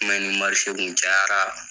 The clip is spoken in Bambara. I ma ye ni kun cayara.